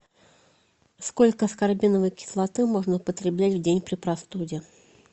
сколько аскорбиновой кислоты можно употреблять в день при простуде